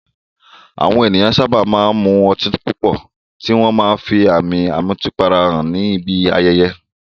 Àwọn ènìyàn sábà máa ń mu ọtí púpọ̀, tí wọ́n máa ń fi àmì ìmutípara hàn níbi ayẹyẹ.